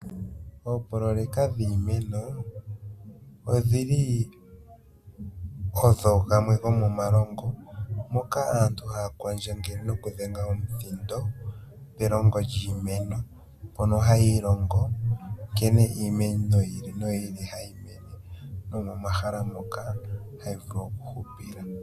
Oopoloyeka dhiimeno odhili odho dhimwe dhomomalongo, moka aantu haya kwandjangele nokudhenga omuthindo, pelongo lyiimeno, mpono hayiilongo nkene iimeno yi ili noyi ili hayi mene, nomomahala moka hayi vulu okuhupila.